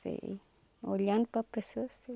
Sei, olhando para a pessoa eu sei.